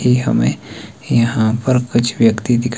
ये हमें यहां पर कुछ व्यक्ति दिखा--